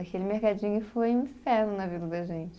Aquele mercadinho foi um inferno na vida da gente.